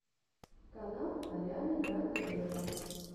канал арианы гранде вево